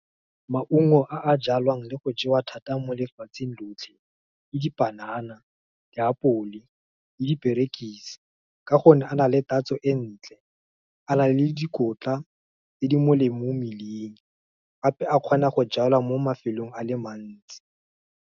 Maungo a a jalwang le go jewa thata mo lefatsheng lotlhe, ke dipanana, diapole, le diperekise. Ka gonne a na le tatso ko ntle, a na le dikotla tse di molemo mo mmeleng, gape a kgona go jalwa mo mafelong a le mantsi.